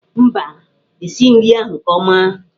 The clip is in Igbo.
Mba, e sighị nri ahụ nke ọma.